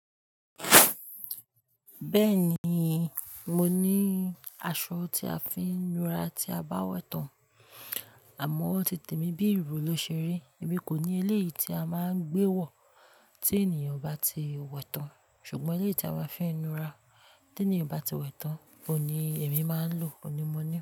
Bẹ́ẹ̀ni, mo ní aṣọ tí a fi ń nu ara tí a bá wẹ̀ tán, àmọ́ ó ti tèmi bí ìró ló ṣeri. Èmi kò ní eleyi tí a máa ń gbé wọ̀ tí ènìyàn bá ti wẹ̀ tán, ṣùgbọ́n eleyi tí a máa ń fi nu ara tí ènìyàn bá ti wẹ̀ tán òun ní èmi máa ń lò, òní mo ní.